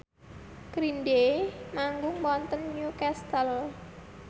Green Day manggung wonten Newcastle